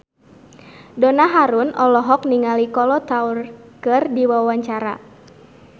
Donna Harun olohok ningali Kolo Taure keur diwawancara